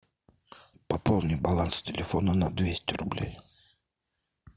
пополни баланс телефона на двести рублей